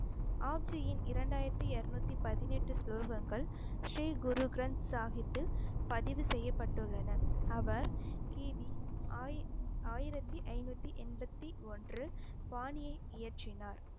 ஆப்ஜியின் இரண்டாயிரத்தி இருநூத்தி பதினெட்டு ஸ்லோகங்கள் ஸ்ரீ குரு கிரந்த சாஹிப்பில் பதிவு செய்யப்பட்டுள்ளன, அவர் கி. பி ஆயி~ ஆயிரத்தி ஐந்நூத்தி எண்பத்தி ஒன்று பாணியை இயற்றினார்